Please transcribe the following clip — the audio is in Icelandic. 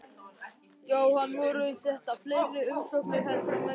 Jóhann, voru þetta fleiri umsóknir heldur en menn bjuggust við?